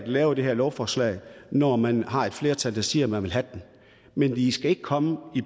lave det her lovforslag når man har et flertal der siger at man vil have den men i skal ikke komme